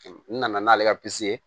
N nana n'ale ka ye